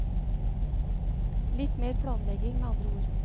Litt mer planlegging, med andre ord.